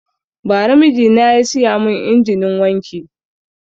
Bara mijina ya siya mun injinin wanki